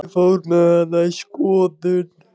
Ég fór með hana í skoðun.